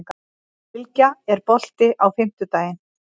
Bylgja, er bolti á fimmtudaginn?